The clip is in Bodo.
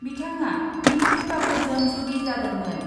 बिथाङा नितु कापुरजों जुलि जादोंमोन।